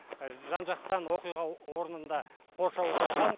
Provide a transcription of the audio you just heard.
жан жақтан оқиға орнында қоршауға алған